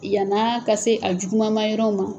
Yan'a ka se a jugumamanyɔrɔ ma